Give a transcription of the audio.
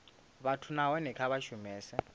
vhathu nahone kha vha shumese